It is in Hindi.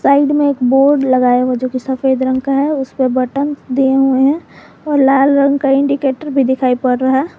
साइड में एक बोर्ड लगाया हुआ है जोकी सफेद रंग का है उसे पे बटन दिए हुए हैं और लाल रंग का इंडिकेटर भी दिखाई पड़ रहा है।